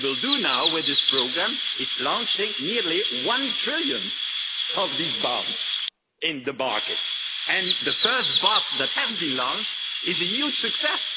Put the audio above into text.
And what we will do now with this programme is launch nearly one trillion of these bonds on the market, and the first bond that has been launched is a huge success.